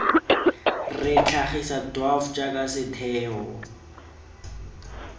re tlhagisa dwaf jaaka setheo